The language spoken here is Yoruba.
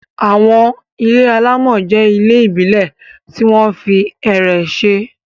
Àwọn ilé alámọ̀ jẹ́ ilé ìbílẹ̀ tí wọ́n fi ẹ̀rẹ̀ ṣe.